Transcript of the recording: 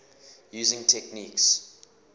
using techniques